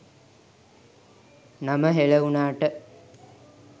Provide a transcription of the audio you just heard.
නම හෙළ වුනාට